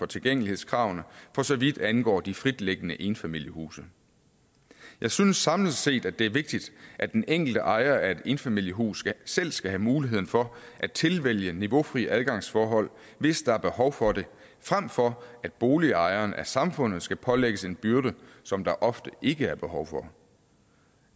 tilgængelighedskravene for så vidt angår de fritliggende enfamiliehuse jeg synes samlet set det er vigtigt at den enkelte ejer af et enfamiliehus selv skal have muligheden for at tilvælge niveaufri adgangsforhold hvis der er behov for det frem for at boligejeren af samfundet skal pålægges en byrde som der ofte ikke er behov for